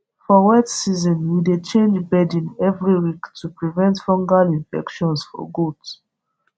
for wet season we dey change bedding every week to prevent fungal infections for gaot